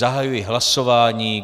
Zahajuji hlasování.